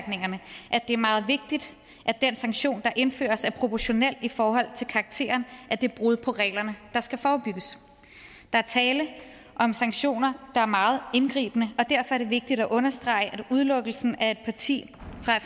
det er meget vigtigt at den sanktion der indføres er proportionel i forhold til karakteren af det brud på reglerne der skal forebygges der er tale om sanktioner der er meget indgribende og derfor er det vigtigt at understrege at udelukkelsen af et parti